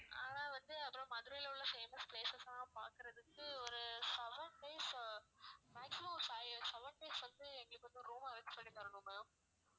ஆனா வந்து அதோட மதுரையில உள்ள famous places லாம் பாக்குறதுக்கு ஒரு seven days maximum ஒரு five or seven days வந்து எங்களுக்கு வந்து room arrange பண்ணித் தரணும் ma'am